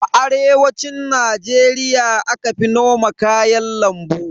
A arewacin Najeriya aka fi noman kayan lambu.